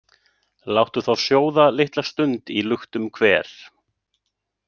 Láttu þá sjóða litla stund í luktum hver,